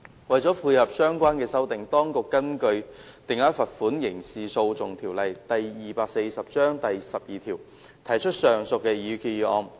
為配合相關修訂，當局根據《定額罰款條例》第12條，提交上述擬議決議案。